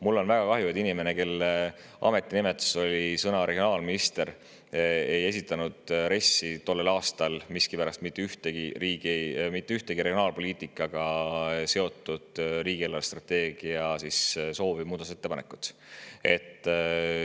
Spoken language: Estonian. Mul on väga kahju, et inimene, kelle ametinimetuseks oleks sõna "regionaalminister", ei esitanud RES-i, riigi eelarvestrateegia kohta tollel aastal miskipärast mitte ühtegi regionaalpoliitikaga seotud soovi, muudatusettepanekut.